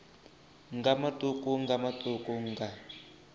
nga matuku nga matuku nga